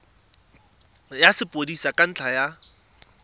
ya sepodisi ka ntlha ya